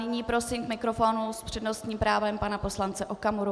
Nyní prosím k mikrofonu s přednostním právem pana poslance Okamuru.